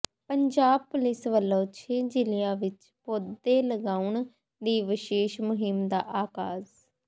Punjab police ਵੱਲੋਂ ਛੇ ਜ਼ਿਲ੍ਹਿਆਂ ਵਿੱਚ ਪੌਦੇ ਲਗਾਉਣ ਦੀ ਵਿਸ਼ੇਸ਼ ਮੁਹਿੰਮ ਦਾ ਆਗਾਜ਼